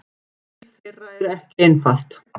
Líf þeirra er ekki einfalt!